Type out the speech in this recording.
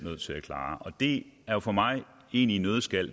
det er for mig i en nøddeskal